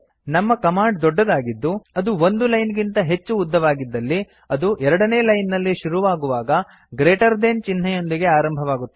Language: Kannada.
ನಮ್ಮ ಕಮಾಂಡ್ ದೊಡ್ಡದಾಗಿದ್ದು ಅದು ಒಂದು ಲೈನ್ ಗಿಂತ ಹೆಚ್ಚು ಉದ್ದವಾಗಿದ್ದಲ್ಲಿ ಅದು ಎರಡನೇ ಲೈನ್ ನಲ್ಲಿ ಶುರುವಾಗುವಾಗ ಗ್ರೇಟರ್ ದೆನ್ ಜಿಟಿಯ ಚಿಹ್ನೆಯೊಂದಿಗೆ ಆರಂಭವಾಗುತ್ತದೆ